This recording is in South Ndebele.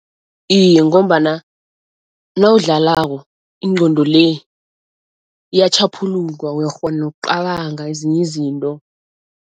Iye ngombana nawudlalako ingqondo le iyatjhaphuluka uyakghona nokucabanga ezinye izinto.